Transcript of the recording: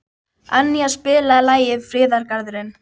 Annía, spilaðu lagið „Friðargarðurinn“.